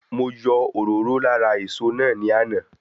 Mo yọ òróró lára èso náà ní àná